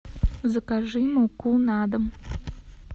закажи муку на дом